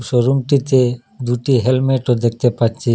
Room -টিতে দুটি helmet -ও দেখতে পাচ্চি।